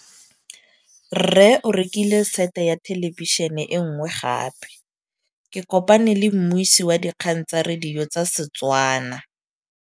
Rre o rekile sete ya thêlêbišênê e nngwe gape. Ke kopane mmuisi w dikgang tsa radio tsa Setswana.